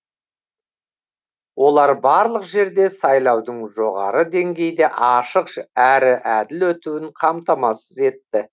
олар барлық жерде сайлаудың жоғары деңгейде ашық әрі әділ өтуін қамтамасыз етті